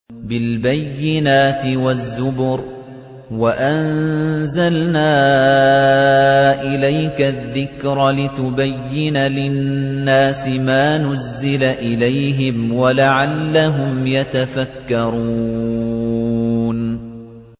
بِالْبَيِّنَاتِ وَالزُّبُرِ ۗ وَأَنزَلْنَا إِلَيْكَ الذِّكْرَ لِتُبَيِّنَ لِلنَّاسِ مَا نُزِّلَ إِلَيْهِمْ وَلَعَلَّهُمْ يَتَفَكَّرُونَ